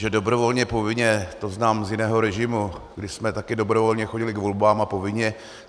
Že dobrovolně povinně, to znám z jiného režimu, kdy jsme také dobrovolně chodili k volbám a povinně.